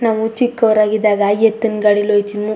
ನಾವು ಚಿಕ್ಕೋರ್ ಆಗಿದ್ದಾಗ ಎತ್ತಿನ್ ಗಾಡಿಲಿ ಹೋಯ್ ತಿಮು .